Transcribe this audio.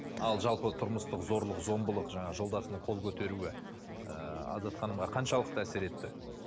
ал жалпы тұрмыстық зорлық зомбылық жаңағы жолдасының қол көтеруі ыыы азат ханымға қаншалықты әсер етті